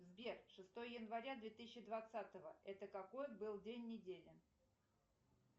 сбер шестое января две тысячи двадцатого это какой был день недели